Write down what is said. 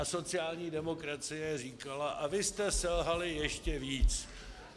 A sociální demokracie říkala: a vy jste selhali ještě víc.